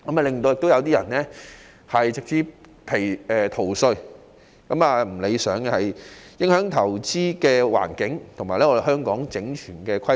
此外，更有些人利用漏洞直接逃稅，做法並不理想，影響香港的投資環境和整全的規劃。